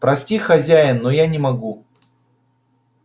прости хозяин но я не могу